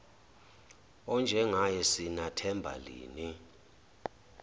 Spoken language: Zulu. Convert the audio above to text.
enjengaye sinathemba lini